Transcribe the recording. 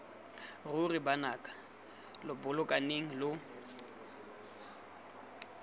ruri banaka lo bolokaneng lo